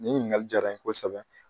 Nin ɲininkali jara n ye kosɛbɛ.